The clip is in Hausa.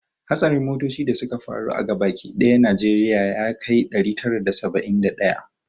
Hatsarin motoci da suka faru a gaba ki dayan najeriya jiya ya kai ɗari tara da saba'in da daya